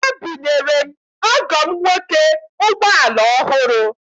Ebunyere m ọgọ m nwoke ụgbọala ọhụrụ.